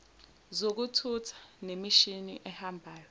zokuthutha nemishini ehambayo